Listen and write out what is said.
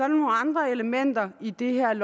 nogle andre elementer i det her